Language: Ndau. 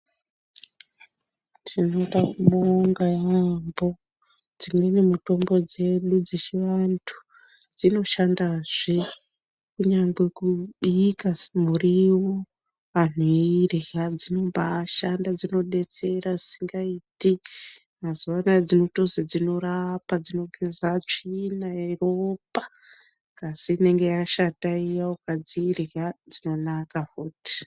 Tinoda kubonga yampho dzimweni mitombo dzedu dzechivantu dzinoshandazve kunyangwe kubika muriwo antu eirya dzinombashanda dzinodetsera zvisingaiti mazuwanaya dzinotozi dzinorapa dzinogeza tsvina yeropa ngazi inenge yashata iya ukadzirya dzinonaka futi.